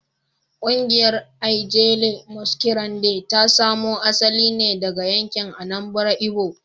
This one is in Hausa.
Kungiyar Ijele Masquerade ta samo asali ne daga yankin Anambra Igbo